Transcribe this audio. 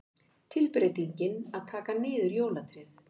Tilbreytingin að taka niður jólatréð.